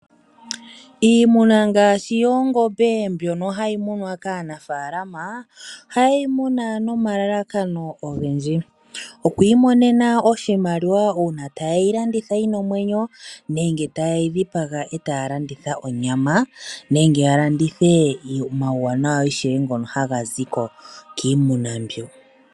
Iimuna ngaashi yoongombe mbyono hayi munwa kaanafaalama ohaye yi muna nomalalakano ogendji. Okwiimonena oshimaliwa uuna ta ye yi landitha yina omwenyo nenge ta ye yi dhipaga etaya landitha onyama nenge ya landithe omauwanawa ishewe ngono haga ziko kiimuna mbyo.